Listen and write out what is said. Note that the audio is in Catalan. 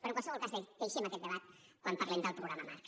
però en qualsevol cas deixem aquest debat quan parlem del programa marc